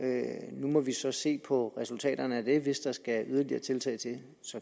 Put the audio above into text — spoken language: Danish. nu må vi så se på resultaterne af det hvis der skal yderligere tiltag til